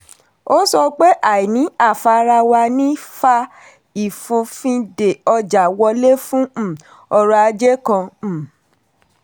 ó sọ pé àìní àfarawà ní fa ìfòfinde ọjà wọlé fún um ọrọ̀ ajé kan. um